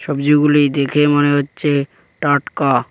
গুলো দেখে মনে হচ্ছে টাটকা।